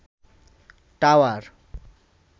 tower